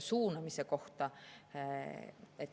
Suunamise kohta.